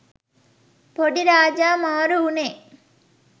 පොඩි රාජා මාරු උනේ